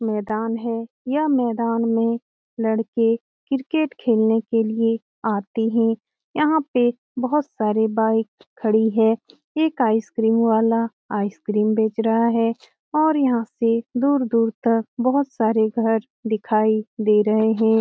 मैदान है यह मैदान में लड़के क्रिकेट खेलने के लिए आते है यहाँ पे बहोत सारे बाइक खड़ी है एक आइसक्रीम वाला आइसक्रीम बेच रहा है और यहा से दूर-दूर तक बहोत सारे घर दिखाई दे रहे है।